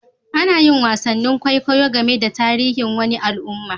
Ana yin wasan kwaikwayo game da tarihin wani alumma.